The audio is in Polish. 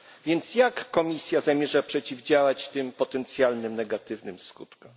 Więc jak Komisja zamierza przeciwdziałać tym potencjalnym negatywnym skutkom?